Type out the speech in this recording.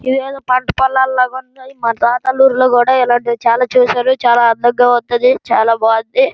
ఇదేదో పంట పొలాలా బాగా ఉన్నాయి. మా తాతల ఊరిలో చాలా చూశారు. చాలా అందంగా ఉన్నాది చాలా బాగున్నది.